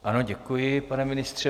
Ano, děkuji, pane ministře.